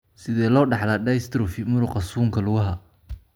Sidee loo dhaxlaa dystrophy muruqa suunka lugaha?